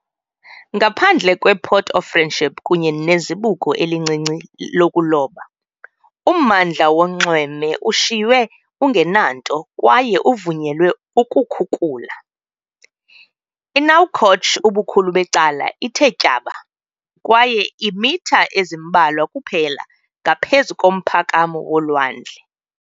Ngaphandle kwePort of Friendship kunye nezibuko elincinci lokuloba, ummandla wonxweme ushiywe ungenanto kwaye uvunyelwe ukukhukula. INouakchott ubukhulu becala ithe tyaba kwaye iimitha ezimbalwa kuphela ngaphezu komphakamo wolwandle.